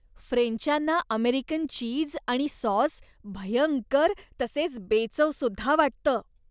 फ्रेंचांना American cheese आणि sauce भयंकर तसेच बेचवसुद्धा वाटतं.